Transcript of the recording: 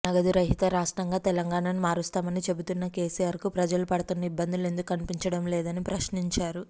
నగదు రహిత రాష్ట్రంగా తెలంగాణను మారుస్తామని చెబుతున్న కేసీఆర్ కు ప్రజలు పడుతున్న ఇబ్బందులు ఎందుకు కనిపించడం లేదని ప్రశ్నించారు